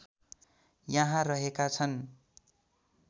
यहाँ रहेका छन्